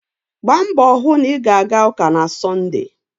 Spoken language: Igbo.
Gbaa mbọ hụ na ị ga-aga ụka na Sọnde.